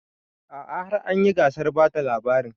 A'a har anyi gasar bada labarin